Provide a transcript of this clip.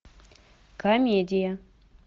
комедия